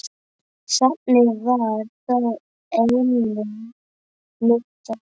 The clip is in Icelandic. Safnið var þó einnig notað.